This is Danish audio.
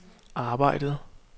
arbejdede